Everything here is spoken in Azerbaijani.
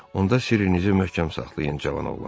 Onda sirrinizi möhkəm saxlayın, cavan oğlan.